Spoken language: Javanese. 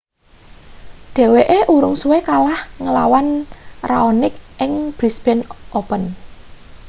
dheweke urung suwe kalah ngelawan raonic ing brisbane open